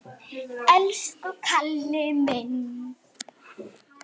Elsku Kalli minn!